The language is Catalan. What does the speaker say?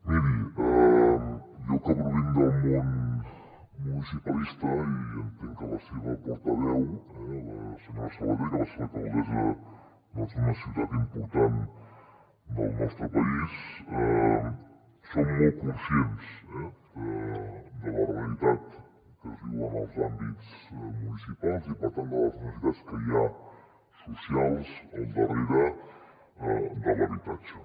miri jo que provinc del món municipalista i entenc que la seva portaveu la senyora sabater que va ser l’alcaldessa d’una ciutat important del nostre país som molt conscients de la realitat que es viu en els àmbits municipals i per tant de les necessitats que hi ha socials al darrere de l’habitatge